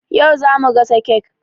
Yau zamu gasa kek.